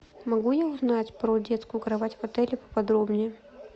могу я узнать про детскую кровать в отеле поподробнее